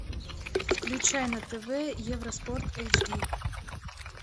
включай на тв евроспорт эйч ди